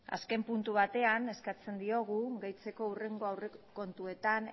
azken puntu batean eskatzen diogu deitzeko hurrengo aurrekontuetan